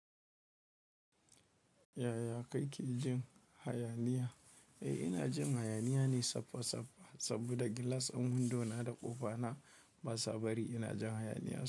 Yaya ka ke jin hayaniya? Eh, ina jin hayaniya ne safa safa saboda gilas din windo na da ƙofa na ba sa bari ina jin hayaniya.